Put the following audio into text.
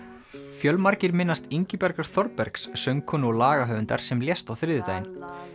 fjölmargir minnast Ingibjargar Þorbergs söngkonu og lagahöfundar sem lést á þriðjudaginn